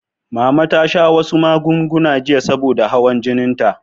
Mama ta sha wasu magunguna jiya saboda hawar jininta.